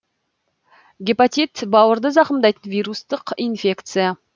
гепатит бауырды зақымдайтын вирустық инфекция